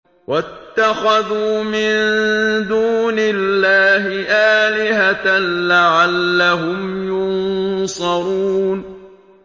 وَاتَّخَذُوا مِن دُونِ اللَّهِ آلِهَةً لَّعَلَّهُمْ يُنصَرُونَ